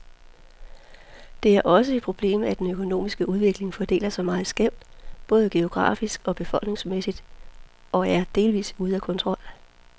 Det er også et problemet, at den økonomiske udvikling fordeler sig meget skævt, både geografisk og befolkningsmæssigt, og er delvist ude af kontrol.